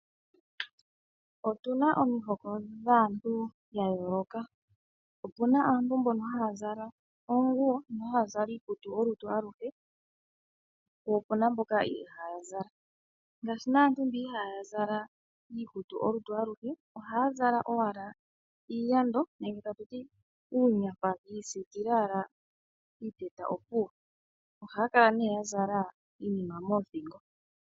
Otuna omihoko dhaantu dhayooloka opuna aantu mbono haya zala oonguwo mbono haazala iikutu olutu aluhe po opuna mboka ihaya zala, ngaashi nee aantu mboka ihaa zala iikutu olutu aluhe ohaa zala owala iiyando nenge atuti uunyafa yiisikila owala piiteta opuwo, ohaa kala nee yazala iinima moothingo.